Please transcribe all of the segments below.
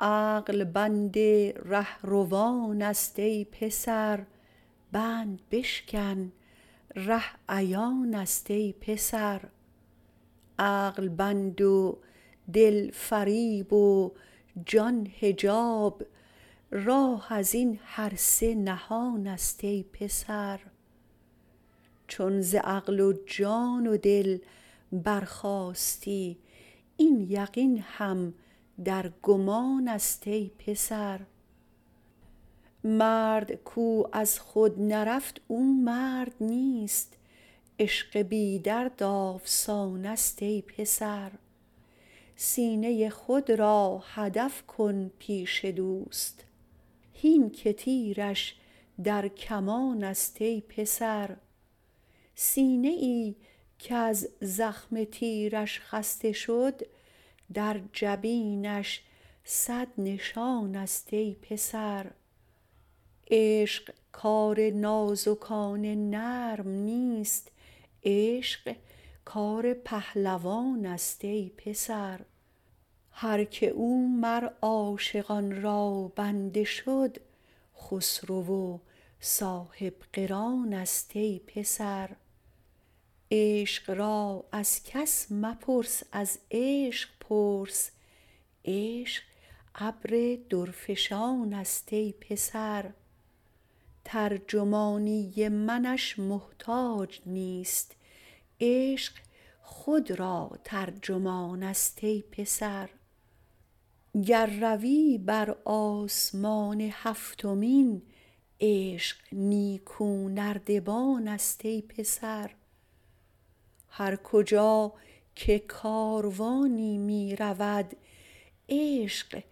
عقل بند رهروانست ای پسر بند بشکن ره عیانست ای پسر عقل بند و دل فریب و جان حجاب راه از این هر سه نهانست ای پسر چون ز عقل و جان و دل برخاستی این یقین هم در گمانست ای پسر مرد کو از خود نرفت او مرد نیست عشق بی درد آفسانست ای پسر سینه خود را هدف کن پیش دوست هین که تیرش در کمانست ای پسر سینه ای کز زخم تیرش خسته شد در جبینش صد نشانست ای پسر عشق کار نازکان نرم نیست عشق کار پهلوانست ای پسر هر کی او مر عاشقان را بنده شد خسرو و صاحب قرانست ای پسر عشق را از کس مپرس از عشق پرس عشق ابر درفشانست ای پسر ترجمانی منش محتاج نیست عشق خود را ترجمانست ای پسر گر روی بر آسمان هفتمین عشق نیکونردبانست ای پسر هر کجا که کاروانی می رود عشق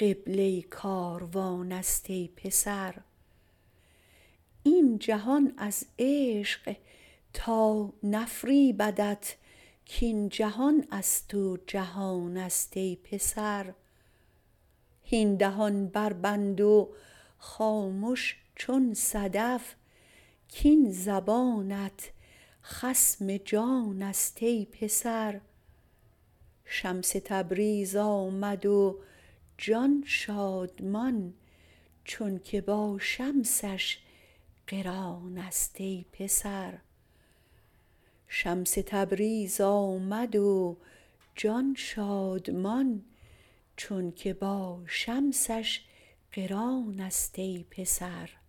قبله کاروانست ای پسر این جهان از عشق تا نفریبدت کاین جهان از تو جهانست ای پسر هین دهان بربند و خامش چون صدف کاین زبانت خصم جانست ای پسر شمس تبریز آمد و جان شادمان چونک با شمسش قرانست ای پسر